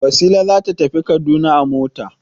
Wasila za ta tafi Kaduna a mota.